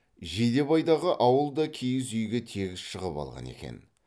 жидебайдағы ауыл да киіз үйге тегіс шығып алған екен